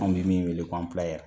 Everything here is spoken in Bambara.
An bɛ min wele ko